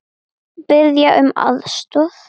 Biðja um aðstoð!